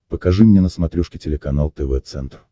покажи мне на смотрешке телеканал тв центр